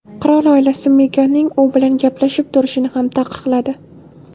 Qirol oilasi Meganning u bilan gaplashib turishini ham taqiqladi.